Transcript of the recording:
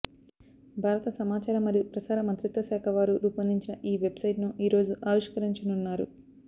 భారత సమాచార మరియు ప్రసార మంత్రిత్వ శాఖ వారు రూపొందించిన ఈ వెబ్ సైట్ ను ఈ రోజు ఆవిష్కరించనున్నారు